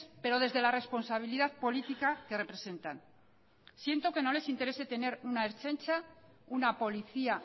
pero desde la responsabilidad política que representan siento que no les interese tener una ertzaintza una policía